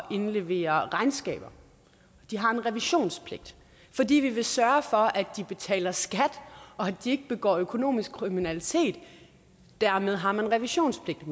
indlevere regnskaber de har en revisionspligt fordi vi vil sørge for at de betaler skat og at de ikke begår økonomisk kriminalitet dermed har man revisionspligt